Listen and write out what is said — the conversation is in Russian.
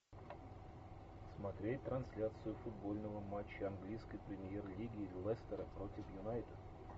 смотреть трансляцию футбольного матча английской премьер лиги лестера против юнайтед